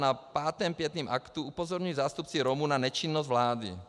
Na pátém pietním aktu upozorňují zástupci Romů na nečinnost vlády.